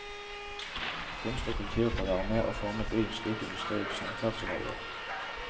Kunst og kultur kan være med å forme byen slik industri og samferdsel har gjort.